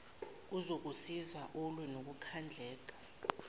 kuzokusiza ulwe nokukhandleka